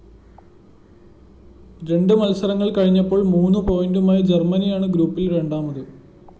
രണ്ട് മത്സരങ്ങള്‍ കഴിഞ്ഞപ്പോള്‍ മൂന്ന് പോയിന്റുമായി ജര്‍മ്മനിയാണ് ഗ്രൂപ്പില്‍ രണ്ടാമത്